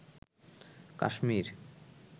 Kashmir